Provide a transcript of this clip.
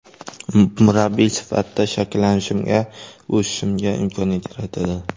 Murabbiy sifatida shakllanishimga, o‘sishimga imkoniyat yaratadi.